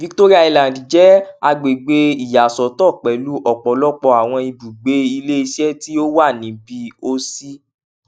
victoria island jẹ agbegbe iyasọtọ pẹlu ọpọlọpọ awọn ibugbe ileiṣẹ ti o wa nibi o si